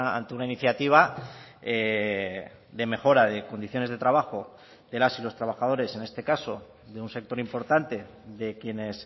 ante una iniciativa de mejora de condiciones de trabajo de las y los trabajadores en este caso de un sector importante de quienes